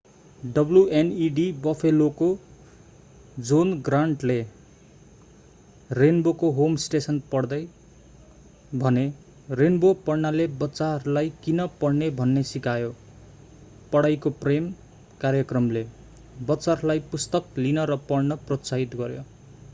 wned बफेलोका John ग्रान्टले रेन्बोको होम स्टेसन पढ्दै भने रेन्बो पढ्नाले बच्चाहरूलाई किन पढ्ने भन्ने सिकायो ......पढाइको प्रेम - कार्यक्रमले बच्चाहरूलाई पुस्तक लिन र पढ्न प्रोत्साहित गर्‍यो।